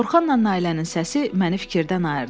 Orxanla Nailənin səsi məni fikirdən ayırdı.